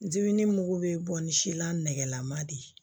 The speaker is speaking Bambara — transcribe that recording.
Ziini mugu bɛ bɔ ni si la nɛgɛlama de ye